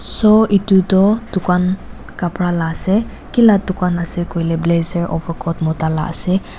so edu toh dukan kapra la ase kila dukan ase koilae blazer overcoat mota la ase.